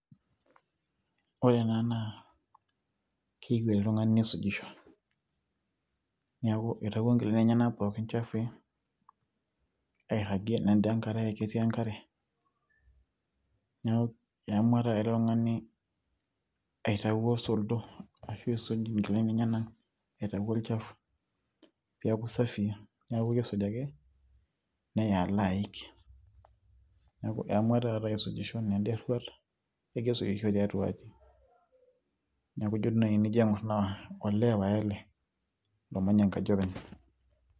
Ore ena naa, keyieu oltung'ani neisujisho. Neeku itawuo nkilani enyanak pooki chafui, airragie nenda enkarae natii enkare, neeku eamua taata ele tung'ani aitau osordo pisuj inkilani enyanak, aitau olchafu peeku safii. Neeku kisuj ake, nea alo aik. Neeku eamua taata aisujisho, nenda erruat, kegira aisujisho tiatua aji. Neeku jo tenijo duo nai aing'or olee pae ele, omanya enkaji openy.